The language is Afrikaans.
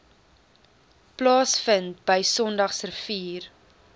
plaasvind bv sondagsrivier